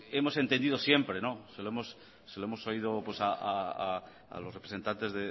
hemos entendido siempre se lo hemos oído a los representantes